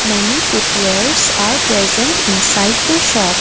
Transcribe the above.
many footwears are present inside the shop.